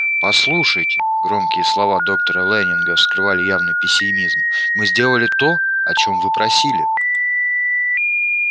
послушайте громкие слова доктора лэннинга скрывали явный пессимизм мы сделали то о чем вы просили